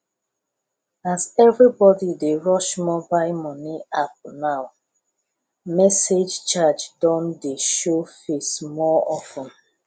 as everybody dey rush mobile money app now message charge don dey show face more of ten